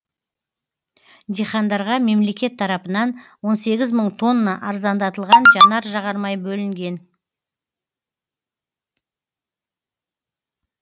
дихандарға мемлекет тарапынан он сегіз мың тонна арзандатылған жанар жағармай бөлінген